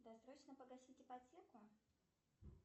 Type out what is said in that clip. досрочно погасить ипотеку